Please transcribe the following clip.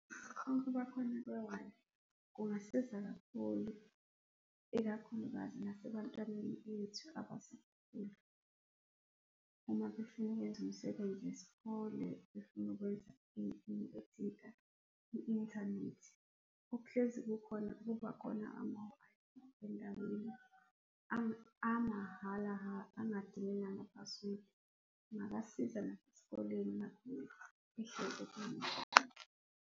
Ukubakhona kwe-Wi-Fi kungasiza kakhulu, ikakhulukazi nasebantwaneni bethu uma befuna ukwenza umsebenzi wesikole, befuna ukwenza into ethinta i-inthanethi. Okuhlezi kukhona, kubakhona ama-Wi-Fi endaweni, amahala ha, angadingi nama-password. Kungabasiza nasesikoleni uma behlezi .